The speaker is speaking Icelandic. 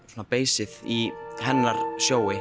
beisið í hennar